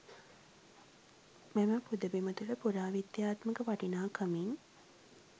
මෙම පුදබිම තුළ පුරා විද්‍යාත්මක වටිනාකමින්